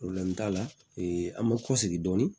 t'a la an bɛ kɔsigi dɔɔni